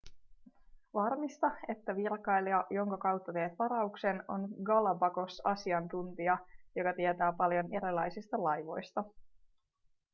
varmista että virkailija jonka kautta teet varauksen on galapagos-asiantuntija joka tietää paljon erilaisista laivoista